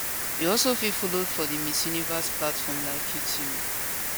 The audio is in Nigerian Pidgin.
you also fit follow for di miss universe platforms like youtube